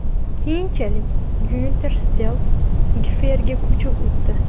Keyinchalik Gyunter Settl GFRga ko‘chib o‘tdi.